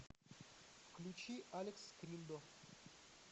включи алекс скриндо